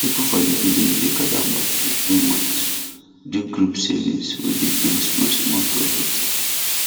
people for the village dey gather money every month do group savings wey dey bring small small profit